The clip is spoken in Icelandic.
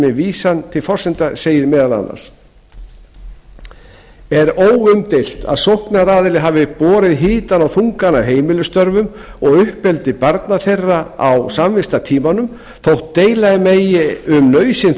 með vísan til forsendna sagði meðal annars er óumdeilt að sóknaraðili hafi borið hitann og þungann af heimilisstörfum og uppeldi barna þeirra á samvistatímanum þótt deila megi um nauðsyn